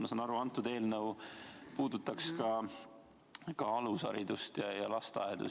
Ma saan aru, et antud eelnõu puudutaks ka alusharidust, lasteaedu.